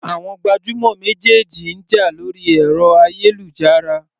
Àwọn gbajúmọ̀ méjèèjì ń jà lórí ẹ̀rọ ayélujára.